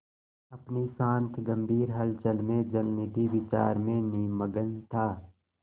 अपनी शांत गंभीर हलचल में जलनिधि विचार में निमग्न था